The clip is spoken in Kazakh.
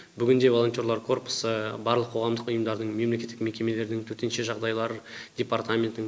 бүгінде волонтерлар корпусы барлық қоғамдық ұйымдардың мемлекеттік мекемелердің төтенше жағдайлар департаментінің